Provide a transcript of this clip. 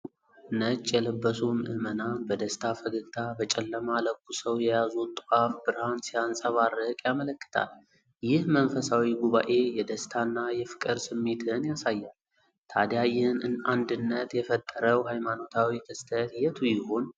ነጭ የለበሱ ምዕመናን በደስታ ፈገግታ፣ በጨለማ ለኩሰው የያዙት ጧፍ ብርሃን ሲያንፀባርቅ ያመለክታል። ይህ መንፈሳዊ ጉባኤ የደስታና የፍቅር ስሜትን ያሳያል፤ ታዲያ ይህን አንድነት የፈጠረው ሃይማኖታዊ ክስተት የቱ ይሆን?